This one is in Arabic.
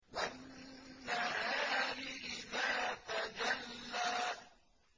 وَالنَّهَارِ إِذَا تَجَلَّىٰ